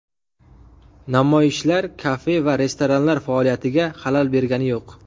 Namoyishlar kafe va restoranlar faoliyatiga xalal bergani yo‘q.